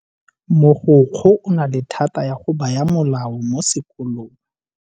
Mogokgo o na le thata ya go baya molao mo sekolong.